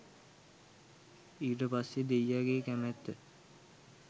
ඊට පස්සෙ දෙයියගෙ කැමැත්ත